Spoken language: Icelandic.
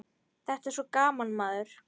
Þetta er svo gaman, maður.